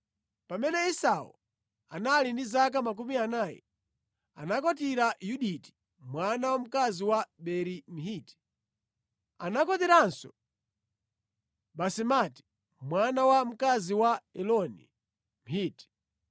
Pamene Esau anali ndi zaka 40, anakwatira Yuditi mwana wamkazi wa Beeri Mhiti. Anakwatiranso Basemati mwana wa mkazi wa Eloni Mhiti.